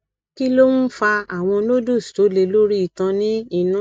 kí ló ń fa àwọn nodules tó le lori itan ni inù